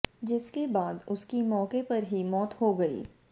जिसके बाद उसकी मौके पर ही मौत हो गयी